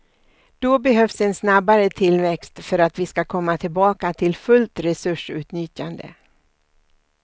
Då behövs en snabbare tillväxt för att vi ska komma tillbaka till fullt resursutnyttjande.